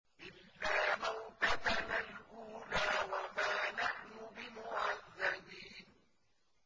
إِلَّا مَوْتَتَنَا الْأُولَىٰ وَمَا نَحْنُ بِمُعَذَّبِينَ